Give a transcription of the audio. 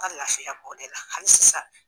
An ka lafiya b'o de la hali sisan.